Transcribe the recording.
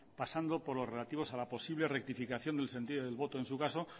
pasando por los relativos a la posible rectificación del sentido del voto en su caso